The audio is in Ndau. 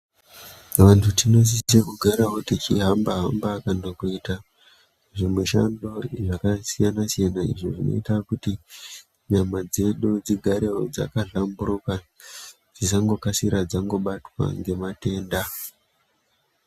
Vantu tino site tichigarawo tichihamba hamba kana kuita zvimishando zvakasiyana siyana izvo zvinoita kuti nyama dzedu dzigarewo dzaka hlamburuka dzisangokasirawo kubatwa ngematenda.